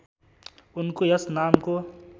उनको यस नामको